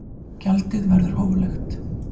Gjaldið verður hóflegt